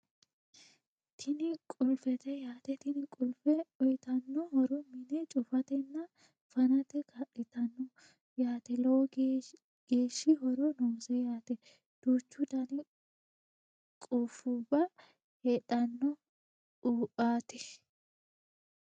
Tini qulifete yaate tini qulife uuyitano horo mine cufatena fante kaalitanno yaate lowo geeshshi horo noose yaate duuchu Dani qufubba heedhano uaate